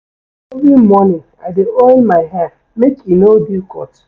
Every morning, I dey oil my hair make e no dey cut.